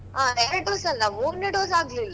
ಹ ಎರ್ಡು dose ಅಲ್ಲ, ಮೂರ್ನೇ dose ಆಗ್ಲಿಲ್ಲ.